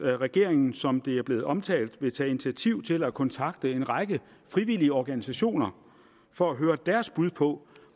at regeringen som det er blevet omtalt vil tage initiativ til at kontakte en række frivillige organisationer for at høre deres bud på